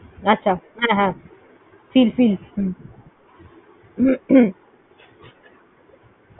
আচ্ছা। হ্যাঁ হ্যাঁ। feel feel